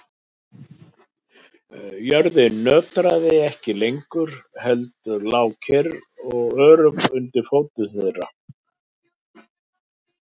Jörðin nötraði ekki lengur heldur lá kyrr og örugg undir fótum þeirra.